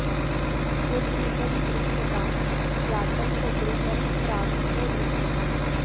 यद् रूपं दृश्यतां यातं तद् रूपं प्राङ् न दृश्यते